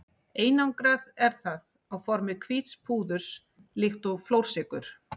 Einangrað er það á formi hvíts púðurs líkt og flórsykur.